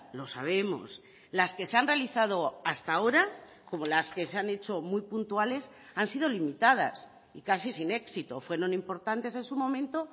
lo sabemos las que se han realizado hasta ahora como las que se han hecho muy puntuales han sido limitadas y casi sin éxito fueron importantes en su momento